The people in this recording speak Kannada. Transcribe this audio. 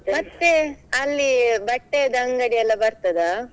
ಮತ್ತೇ ಅಲ್ಲಿ, ಬಟ್ಟೆಯದ್ದು ಅಂಗಡಿಯೆಲ್ಲಾ ಬರ್ತದ?